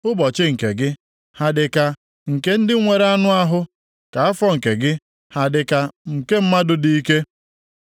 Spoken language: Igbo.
Ụbọchị nke gị, ha dịka nke ndị nwere anụ ahụ, ka afọ nke gị, ha dịka nke mmadụ dị ike?